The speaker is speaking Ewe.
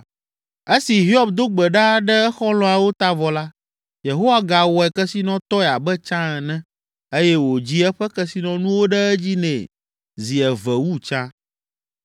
Esi Hiob do gbe ɖa ɖe exɔlɔ̃awo ta vɔ la, Yehowa gawɔe kesinɔtɔe abe tsã ene eye wòdzi eƒe kesinɔnuwo ɖe edzi nɛ zi eve wu tsã.